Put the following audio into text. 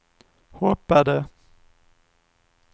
hoppade